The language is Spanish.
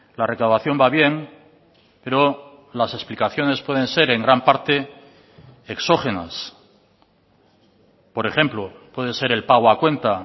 la recaudación va bien pero las explicaciones pueden ser en gran parte exógenas por ejemplo puede ser el pago a cuenta